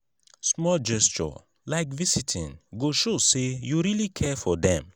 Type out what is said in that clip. small gesture like visiting go show say you really care for dem.